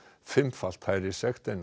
fimmfalt hærri sekt en